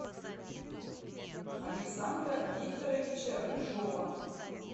александра викторовича рыжова